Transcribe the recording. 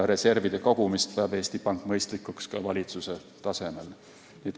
Reservide kogumist peab Eesti Pank mõistlikuks ka valitsuse tasemel.